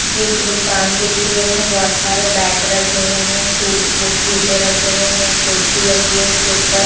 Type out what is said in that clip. ये एक दुकान दिख रही है उस में बहुत सारे बैट रखे हुए हैं शू वो जूत्ते रखे हुए है एक कुर्सी लगी है उसके ऊपर --